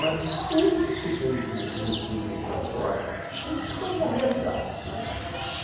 Mas de tudo que se fez no no filme de Flas Gordon, tudo se tornou realidade.